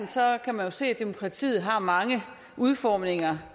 kan man jo se at demokratiet har mange udformninger